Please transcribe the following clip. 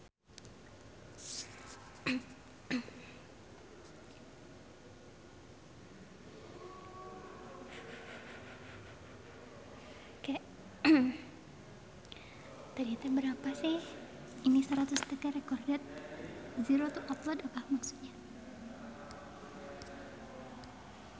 Dewi Gita olohok ningali Stephen Fry keur diwawancara